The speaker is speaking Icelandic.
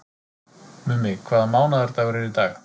Mummi, hvaða mánaðardagur er í dag?